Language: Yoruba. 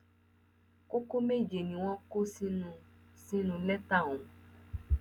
kókó méje ni wọn kọ sínú sínú lẹtà ọhún